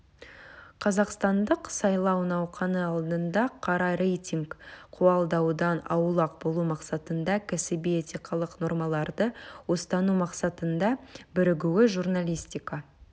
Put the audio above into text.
қазақстандық сайлау науқаны алдында қара рейтинг қуалаудан аулақ болу мақсатында кәсіби этикалық нормаларды ұстану мақсатында бірігуі журналистика